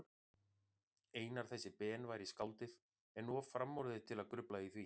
Einar þessi Ben væri skáldið, en of framorðið til að grufla í því.